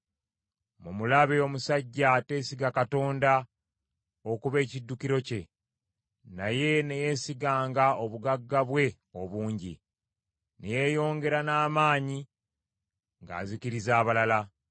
“Mumulabe omusajja ateesiga Katonda okuba ekiddukiro kye, naye ne yeesiganga obugagga bwe obungi, ne yeeyongera n’amaanyi ng’azikiriza abalala.”